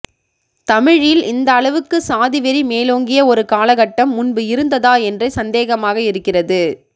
தமிழில் இந்த அளவுக்கு சாதிவெறி மேலோங்கிய ஒரு காலகட்டம் முன்பு இருந்ததா என்றே சந்தேகமாக இருக்கிறது